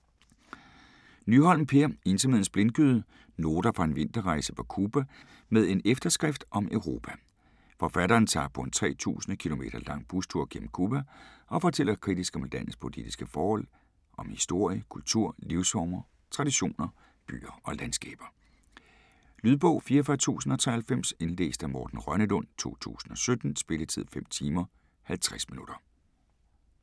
Nyholm, Per: Ensomhedens blindgyde: noter fra en vinterrejse på Cuba: med en efterskrift om Europa Forfatteren tager på en 3000 km lang bustur gennem Cuba og fortæller kritisk om landets politiske forhold, om historie, kultur, livsformer, traditioner, byer og landskaber. Lydbog 44093 Indlæst af Morten Rønnelund, 2017. Spilletid: 5 timer, 50 minutter.